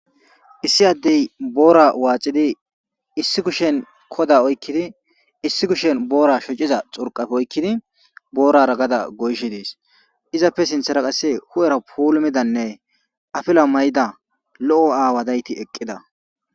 issi addey boora waacidi issi kushen koda oykkidi issi kushen boora shociza xurqaf oykkidi boorara gada goyshe dees izappe sinthera qasse hu7era puulumidanne afila may7da lo7o aawa dayti eqqida